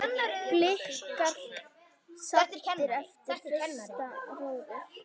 Blikar saddir eftir fyrsta róður?